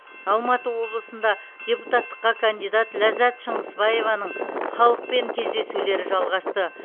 алматы облысында депутаттыққа кандидат ляззат шыңғысбаеваның халықпен кездесулері жалғасты